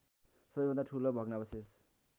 सबैभन्दा ठूलो भग्नावशेष